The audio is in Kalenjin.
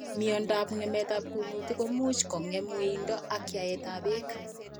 Miandab ng'emet ab kuundit ko much kong'em wendoet ak yaet ab beek